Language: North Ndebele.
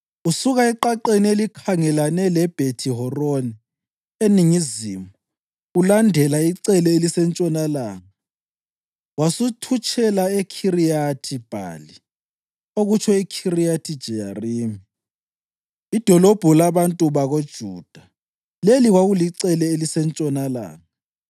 Usuka eqaqeni elikhangelane leBhethi-Horoni eningizimu ulandela icele elisentshonalanga wasuthutshela eKhiriyathi-Bhali (okutsho iKhiriyathi-Jeyarimi) idolobho labantu bakoJuda. Leli kwakulicele elisentshonalanga.